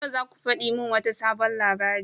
Yau zaka fadi mun wata sabon labari?